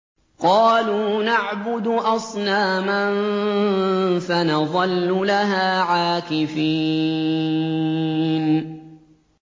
قَالُوا نَعْبُدُ أَصْنَامًا فَنَظَلُّ لَهَا عَاكِفِينَ